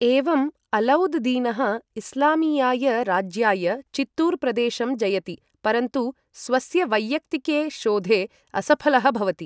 एवम् अलौद् दीनः इस्लामीयाय राज्याय चित्तूर् प्रदेशं जयति, परन्तु स्वस्य वैयक्तिके शोधे असफलः भवति।